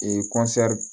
Ee